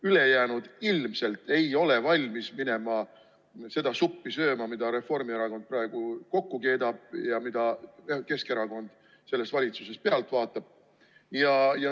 Ülejäänud ilmselt ei ole valmis minema seda suppi sööma, mida Reformierakond praegu kokku keedab ja mida Keskerakond selles valitsuses pealt vaatab.